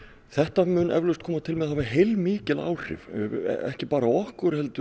þetta mun eflaust koma til með að hafa heilmikil áhrif ekki bara á okkur heldur